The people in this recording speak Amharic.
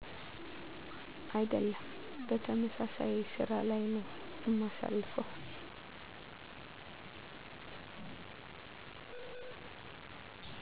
አይደሉም በተመሳሳይ ስራ ላይ ነው እማሳልፈው